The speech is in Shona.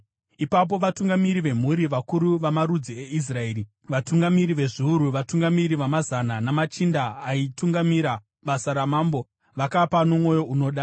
Ipapo vatungamiri vemhuri, vakuru vamarudzi eIsraeri, vatungamiri vezviuru, vatungamiri vamazana namachinda aitungamirira basa ramambo vakapa nomwoyo unoda.